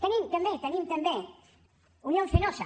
tenim també tenim també unión fenosa